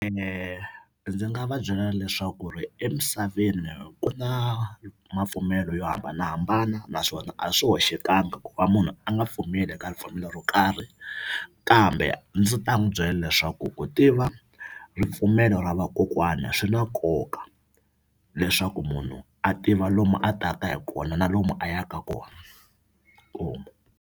Ndzi nga va byela leswaku ri emisaveni ku na mapfumelo yo hambanahambana naswona a swi hoxekangi ku va munhu a nga pfumeli ka ripfumelo ro karhi kambe ndzi ta n'wi byela leswaku ku tiva ripfumelo ra vakokwana swi na nkoka leswaku munhu a tiva lomu a taka hi kona na lomu a yaka kona .